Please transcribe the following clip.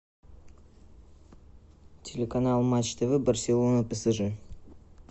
телеканал матч тв барселона псж